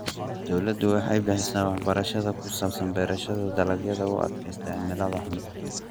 Dawladdu waxay bixisaa waxbarasho ku saabsan beerashada dalagyada u adkaysta cimilada xun.